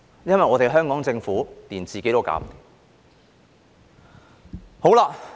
因為香港政府連自己也顧不來。